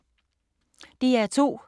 DR2